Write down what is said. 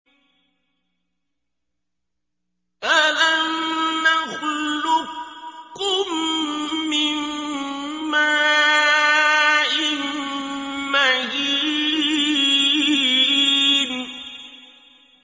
أَلَمْ نَخْلُقكُّم مِّن مَّاءٍ مَّهِينٍ